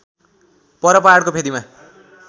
पर पहाडको फेदीमा